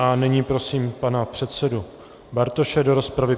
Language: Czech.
A nyní prosím pana předsedu Bartoše do rozpravy.